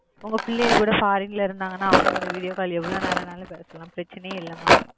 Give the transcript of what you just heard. உங்க பிள்ளைங்க farin இருந்தாங்க அவங்க குட எவ்ளோநேரம் வேணாலும் பேசலாம் பிரச்சனை இல்ல mam